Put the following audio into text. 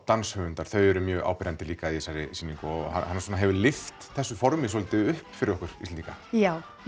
danshöfundar þau eru mjög áberandi líka í þessari sýningu og hann svona hefur lyft þessu formi svolítið upp fyrir okkur Íslendinga já